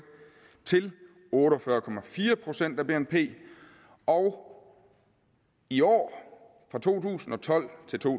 til otte og fyrre procent af bnp og i år fra to tusind og tolv til to